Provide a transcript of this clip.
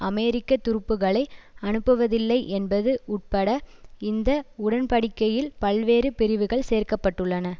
அமெரிக்க துருப்புக்களை அனுப்புவதில்லை என்பது உட்பட இந்த உடன்படிக்கையில் பல்வேறு பிரிவுகள் சேர்க்க பட்டுள்ளன